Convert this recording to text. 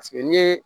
Paseke n'i ye